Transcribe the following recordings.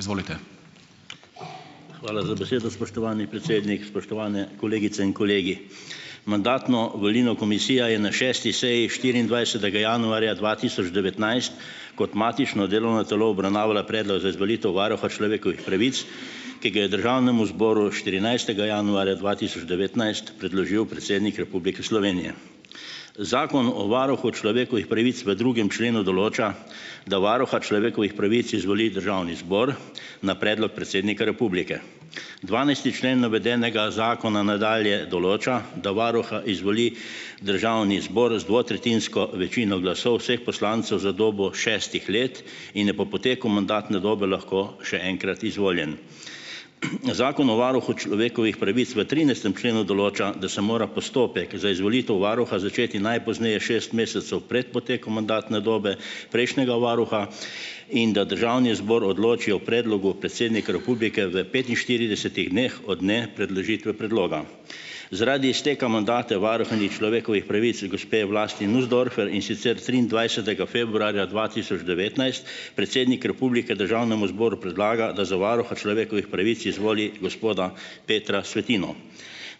Izvolite. Hvala za besedo, spoštovani predsednik, spoštovane kolegice in kolegi. Mandatno-volilno komisija je na šesti seji štiriindvajsetega januarja dva tisoč devetnajst kot matično delovno telo obravnavala predlog za izvolitev varuha človekovih pravic, ki ga je državnemu zboru štirinajstega januarja dva tisoč devetnajst predložil predsednik Republike Slovenije. Zakon o varuhu človekovih pravic v drugem členu določa, da varuha človekovih pravic izvoli državni zbor na predlog predsednika republike. Dvanajsti člen navedenega zakona nadalje določa, da varuha izvoli državni zbor z dvotretjinsko večino glasov vseh poslancev za dobo šestih let in je po poteku mandatne dobe lahko še enkrat izvoljen. Zakon o varuhu človekovih pravic v trinajstem členu določa, da se mora postopek za izvolitev varuha začeti najpozneje šest mesecev pred potekom mandatne dobe prejšnjega varuha in da državni zbor odloči o predlogu predsednika republike v petinštiridesetih dneh od nepredložitve predloga. Zaradi izteka mandata varuhinje človekovih pravic gospe Vlasti Nussdorfer, in sicer triindvajsetega februarja dva tisoč devetnajst predsednik republike državnemu zboru predlaga, da za varuha človekovih pravic izvoli gospoda Petra Svetino.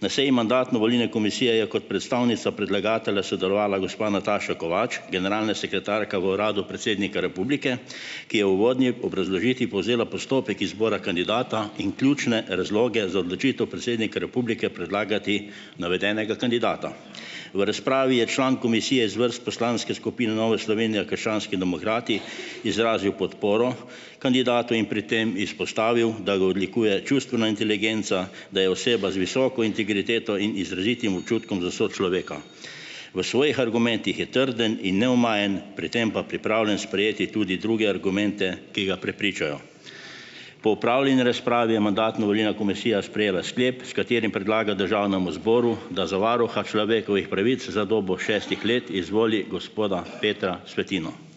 Na seji mandatno-volilne komisije je kot predstavnica predlagatelja sodelovala gospa Nataša Kovač, generalna sekretarka v uradu predsednika republike, ki je uvodni obrazložitvi povzela postopek izbora kandidata in ključne razloge za odločitev predsednika republike predlagati navedenega kandidata. V razpravi je član komisije iz vrst poslanske skupine Nova Slovenija krščanski demokrati izrazil podporo kandidatu in pri tem izpostavil, da ga odlikuje čustvena inteligenca, da je oseba z visoko integriteto in izrazitim občutkom za sočloveka, v svojih argumentih je trden in neomajen, pri tem pa pripravljen sprejeti tudi druge argumente, ki ga prepričajo. Po opravljeni razpravi je mandatno-volilna komisija sprejela sklep, s katerim predlaga državnemu zboru, da za varuha človekovih pravic za dobo šestih let izvoli gospoda Petra Svetino. Hvala.